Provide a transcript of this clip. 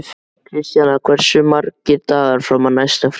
Kristjana, hversu margir dagar fram að næsta fríi?